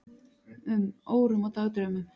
um, órum og dagdraumum.